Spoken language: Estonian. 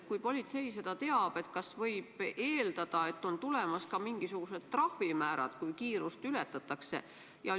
Kui politsei seda teab, siis kas võib eeldada, et on tulemas ka mingisugused trahvimäärad, kui kiirust ületatakse?